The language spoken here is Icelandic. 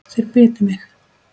Þeir bitu mig.